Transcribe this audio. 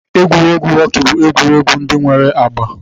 Egwuregwu họkị bụ egwuregwu ndị nwere agba